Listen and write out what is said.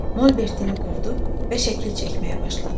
Molbertini qurdu və şəkil çəkməyə başladı.